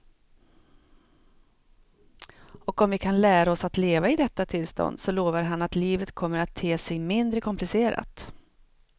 Och om vi kan lära oss att leva i detta tillstånd så lovar han att livet kommer att te sig mindre komplicerat.